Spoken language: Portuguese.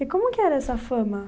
E como que era essa fama?